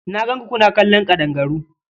Na gan ku kuna kallon ƙadangaru.